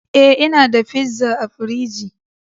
eh, ina da pizza a fridgi